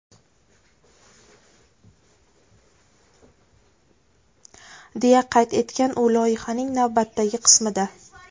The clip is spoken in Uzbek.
deya qayd etgan u loyihaning navbatdagi qismida.